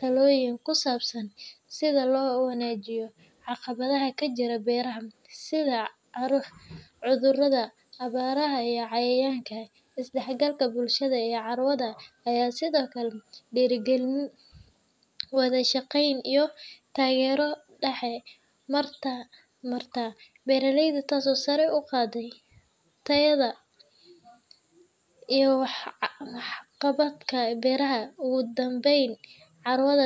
talooyin ku saabsan sida loo wajahayo caqabadaha ka jira beeraha, sida cudurrada, abaaraha, iyo cayayaanka. Isdhexgalka bulshada ee carwada ayaa sidoo kale dhiirrigeliya wada shaqeyn iyo taageero dhex marta beeraleyda, taasoo sare u qaada tayada iyo waxqabadka beeraha. Ugu dambeyn, carwada.